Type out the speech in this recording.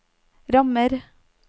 rammer